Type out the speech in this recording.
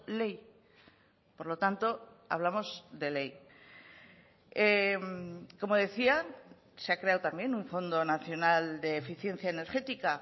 ley por lo tanto hablamos de ley como decía se ha creado también un fondo nacional de eficiencia energética